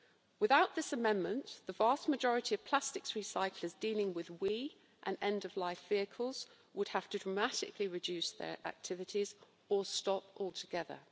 Without this amendment, the vast majority of plastics recyclers dealing with WEEE and end-of-life vehicles would have to dramatically reduce their activities or stop altogether.